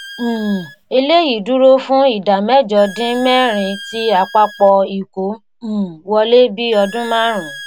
um eléyìí dúró fún ìdá mẹ́jọ dín mẹ́rin ti àpapọ̀ ìkó um wọlé bí ọdún márùn-ún.